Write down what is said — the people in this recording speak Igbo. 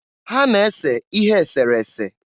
Ha na-ese ihe esere ese.